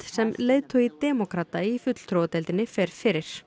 sem leiðtogi demókrata í fulltrúadeildinni fer fyrir